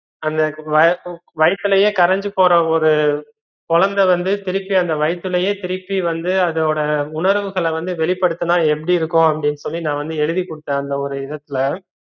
அந்த ஆஹ் வைதுலையே கரைஞ்சு போற ஒரூ குழந்த வந்து திருப்பி அந்த வைதுலையே திருப்பி வந்து அதோட உணர்வுகள வந்து வெளிபடுத்துனா எப்படி இருக்கும் அப்படின்னு சொல்லி நா வந்து எழுதிக்குடுத்தேன் அந்த ஒரு இடத்துல